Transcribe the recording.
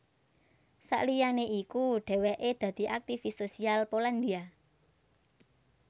Sakliyané iku dhèwèké dadi aktivis sosial Polandia